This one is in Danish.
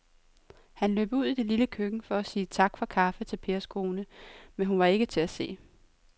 Han løb ud i det lille køkken for at sige tak for kaffe til Pers kone, men hun var ikke til at se.